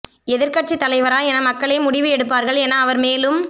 எதிர்க்கட்சி தலைவரா என மக்களே முடிவு எடுப்பார்கள் என அவர் மேலும்